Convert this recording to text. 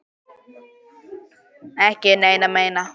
Ekki neina eina.